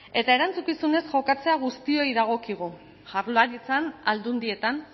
eta erantzukizunez jokatzea guztioi dagokigu jaurlaritzan aldundietan